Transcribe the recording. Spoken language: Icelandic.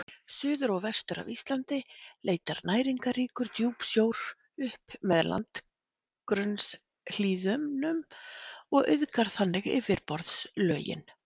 Suður og vestur af Íslandi leitar næringarríkur djúpsjór upp með landgrunnshlíðunum og auðgar þannig yfirborðslögin.